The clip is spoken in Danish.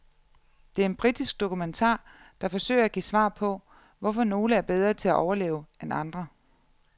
Det er en britisk dokumentar, der forsøger at give svar på, hvorfor nogle er bedre til at overleve end andre.